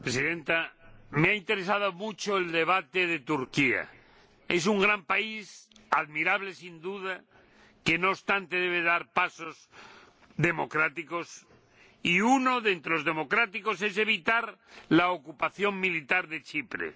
Señora Presidenta, me ha interesado mucho el debate sobre Turquía. Es un gran país, admirable sin duda, que, no obstante, debe dar pasos democráticos, y uno de los pasos democráticos es evitar la ocupación militar de Chipre.